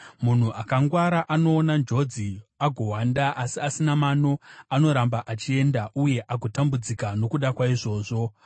Munhu akangwara anoona njodzi agohwanda, asi asina mano anoramba achienda uye agotambudzika nokuda kwaizvozvo.